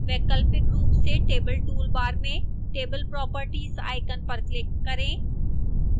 वैकल्पिक रूप से table toolbar में table properties icon पर click करें